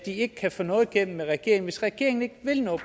ikke kan få noget igennem med regeringen hvis ikke regeringen vil noget